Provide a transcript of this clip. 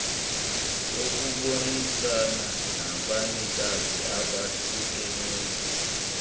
kokubonisana nabanikazi abahlukeneyo